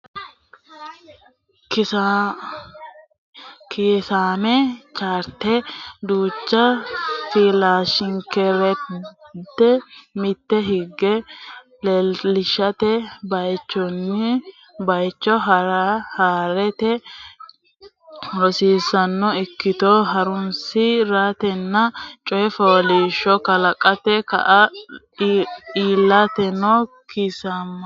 Kiisaame chaarte duucha filashshikaarde mitte hige leellishate baychunni baycho haa re ha rate rosiisaanono ikkito horonsi ratenna coy fooliishsho kalaqate kaa litanno Kiisaame.